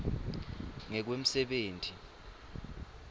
ngekwemsebenti